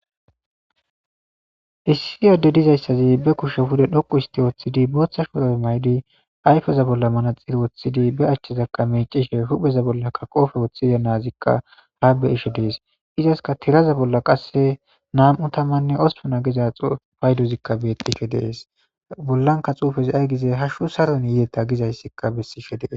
Issi diyo adey de'izayssi be kushshen pude dhoqqu istti woththidi boththa shuurabe mayidi ayfeza bolla manatire woththidi be achchezaka meciishshe huphpheza bollaka qoofe woththidi nazikka ha be'ishshe dees izassika tiiraza bolla qasse nam'u tammanne ospuna Giza payddozika betiishshe de'ees bollanka xufezika ayi gize hashshu saron yidetta gizayssika besiishshe de'ees